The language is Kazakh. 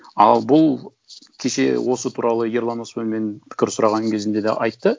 ал бұл кеше осы туралы ерлан өсібай мен пікір сұраған кезімде де айтты